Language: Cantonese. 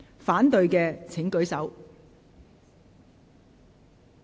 反對的請舉手。